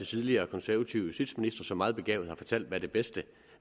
tidligere konservative justitsministre som meget begavet har fortalt hvad det bedste